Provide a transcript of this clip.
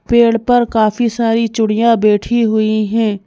पेड़ पर काफी सारी चूड़ियां बैठी हुई हैं।